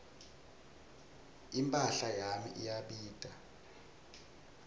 imphahla yami iyabita